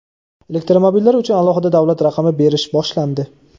Elektromobillar uchun alohida davlat raqami berish boshlandi.